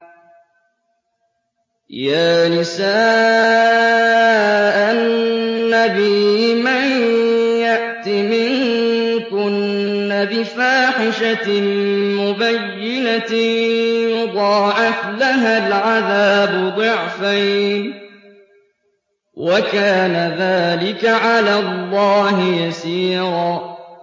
يَا نِسَاءَ النَّبِيِّ مَن يَأْتِ مِنكُنَّ بِفَاحِشَةٍ مُّبَيِّنَةٍ يُضَاعَفْ لَهَا الْعَذَابُ ضِعْفَيْنِ ۚ وَكَانَ ذَٰلِكَ عَلَى اللَّهِ يَسِيرًا